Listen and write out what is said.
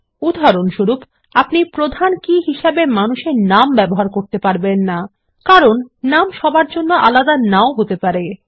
উদাহরণস্বরূপ আপনি প্রধান কী হিসাবে মানুষ এর নাম ব্যবহার করতে পারবেন না কারণ নাম সবার জন্য আলাদা নাও হতে পারে